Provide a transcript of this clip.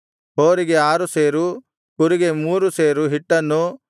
ಹೋರಿಗೆ ಆರು ಸೇರು ಕುರಿಗೆ ಮೂರು ಸೇರು ಹಿಟ್ಟನ್ನೂ